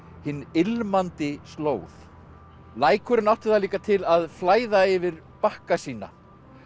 Hin ilmandi slóð lækurinn átti það líka til að flæða yfir bakka sína